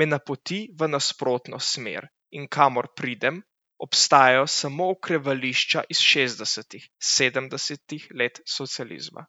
me napoti v nasprotno smer in kamor pridem, obstajajo samo okrevališča iz šestdesetih, sedemdesetih let socializma.